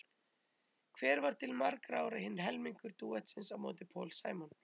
Hver var til margra ára hinn helmingur dúetts á móti Paul Simon?